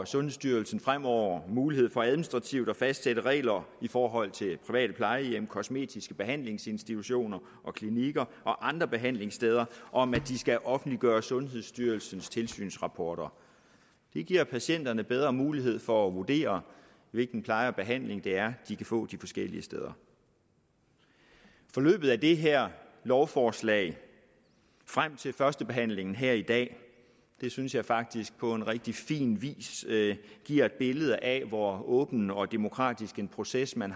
sundhedsstyrelsen fremover mulighed for administrativt at fastsætte regler i forhold til private plejehjem kosmetiske behandlingsinstitutioner og klinikker og andre behandlingssteder om at de skal offentliggøre sundhedsstyrelsens tilsynsrapporter det giver patienterne bedre mulighed for at vurdere hvilken pleje og behandling de kan få de forskellige steder forløbet af det her lovforslag frem til førstebehandlingen her i dag synes jeg faktisk på rigtig fin vis giver et billede af hvor åben og demokratisk en proces man